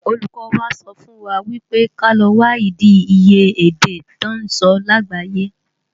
Ólúkò wá sòfúnwá wipé ká lò wádi iyé èdè tò nsò lágbáyé